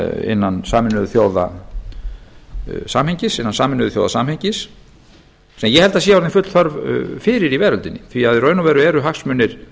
innan sameinuðu þjóða samhengis sem ég held að sé orðin full þörf fyrir í veröldinni því að í raun og veru eru hagsmunir